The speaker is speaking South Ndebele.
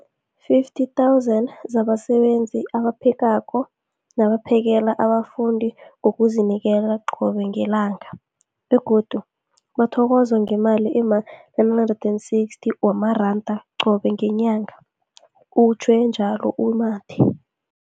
50 000 zabasebenzi abaphekako nabaphakela abafundi ngokuzinikela qobe ngelanga, begodu bathokozwa ngemali ema-960 wamaranda qobe ngenyanga, utjhwe njalo u-Mathe.